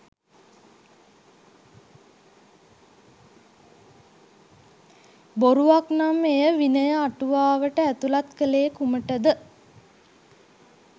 බොරුවක් නම් එය විනය අටුවාවට ඇතුළත් කළේ කුමටද?